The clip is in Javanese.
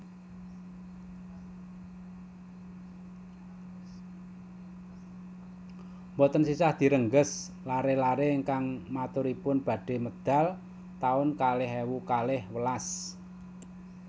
Mboten sisah direngges lare lare ingkang maturipun badhe medal taun kalih ewu kalih welas